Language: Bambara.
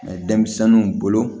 denmisɛnninw bolo